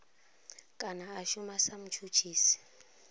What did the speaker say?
kana a shuma sa mutshutshisi